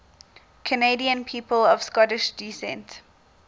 canadian people of scottish descent